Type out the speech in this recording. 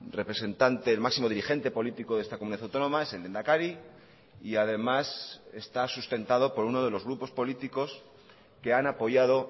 representante el máximo dirigente político de esta comunidad autónoma es el lehendakari y además está sustentado por uno de los grupos políticos que han apoyado